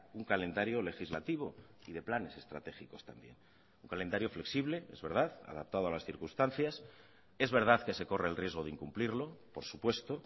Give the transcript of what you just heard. un calendario legislativo y de planes estratégicos también un calendario flexible es verdad adaptado a las circunstancias es verdad que se corre el riesgo de incumplirlo por supuesto